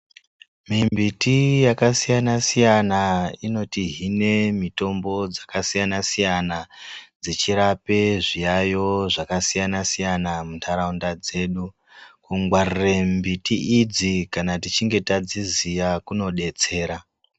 Mi miti yaka siyana siyana inoti hine mitombo dzaka siyana siyana dzechirape zviyayo zvaka siyana siyana mu ndaraunda dzedu kungwarire mbiti idzi kana tichinge tadziziya kuno detsera.